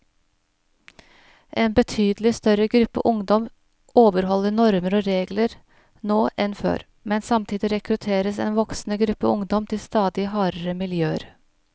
En betydelig større gruppe ungdom overholder normer og regler nå enn før, men samtidig rekrutteres en voksende gruppe ungdom til stadig hardere miljøer.